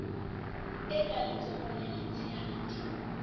e ka letsohong le letshehadi